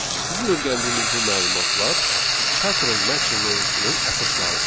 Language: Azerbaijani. Bizim öyrəndiyimiz bu məlumatlar pattern matching mövzusunun əsaslarıdır.